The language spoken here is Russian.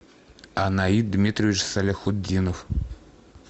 анаид дмитриевич саляхутдинов